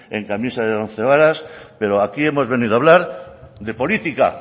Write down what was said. en camisa de once varas pero aquí hemos venido a hablar de política